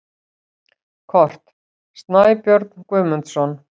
Kort: Snæbjörn Guðmundsson.